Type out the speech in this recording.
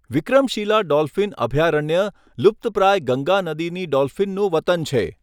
Vikramshila dolphin અભયારણ્ય લુપ્તપ્રાય ગંગા નદીની ડોલ્ફિનનું વતન છે.